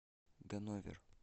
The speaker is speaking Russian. ганновер